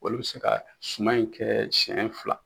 Olu bɛ se ka suman in kɛ siɲɛ fila.